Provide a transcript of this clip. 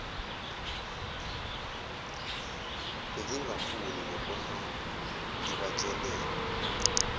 bengingafuni nokuhamba ngibatshele